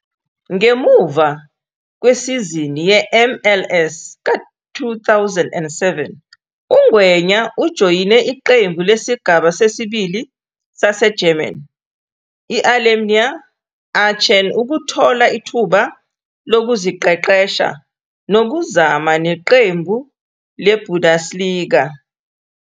Ngemuva kwesizini yeMLS ka-2007, uNgwenya ujoyine iqembu lesigaba sesibili saseGerman i-Alemannia Aachen ukuthola ithuba lokuziqeqesha nokuzama neqembu leBundesliga.